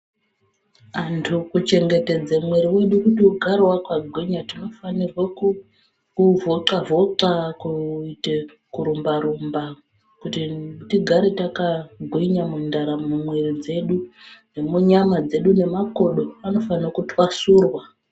Antu kuchengetedze muiri wedu kuti ugare wakagwinya tinofanirwe kuvhoxa-vhoxa, kurumba-rumba kuti tigare takagwinya mundaramo, mumwiri dzedu nemunyama dzedu, nemakodo anofane kutwasurwa.